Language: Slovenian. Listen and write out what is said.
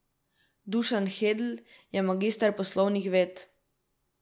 Dušan Hedl je magister poslovnih ved.